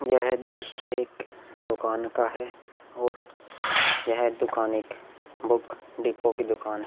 यह दृश्य एक दुकान का है और यह दुकान एक बुक डिपो की दुकान है ।